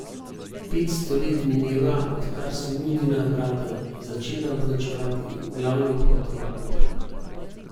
Petsto let mineva, odkar so Mudina vrata začela označevati glavni vhod v Koper.